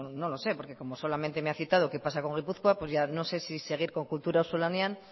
no lo sé porque como solamente me ha citado qué pasa con gipuzkoa pues ya no sé si seguir con kultura auzolanean